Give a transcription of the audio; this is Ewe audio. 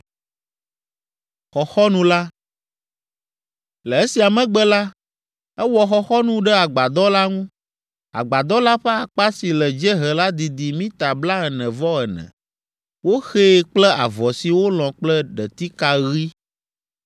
Le esia megbe la, ewɔ xɔxɔnu ɖe agbadɔ la ŋu. Agbadɔ la ƒe akpa si le dziehe la didi mita blaene-vɔ-ene. Woxee kple avɔ si wolɔ̃ kple ɖetika ɣi,